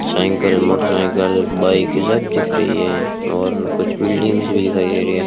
Cycle motorcycle बाईकें सब दिख रही हैं और कुछ बिल्डिंग्स भी दिखाई दे रही है।